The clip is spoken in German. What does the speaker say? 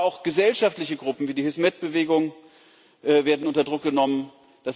Aber auch gesellschaftliche Gruppen wie die Hizmet Bewegung werden unter Druck gesetzt.